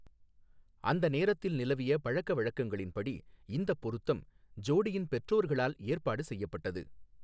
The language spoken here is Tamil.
அந்த நேரத்தில் நிலவிய பழக்கவழக்கங்களின்படி, இந்தப் பொருத்தம், ஜோடியின் பெற்றோர்களால் ஏற்பாடு செய்யப்பட்டது.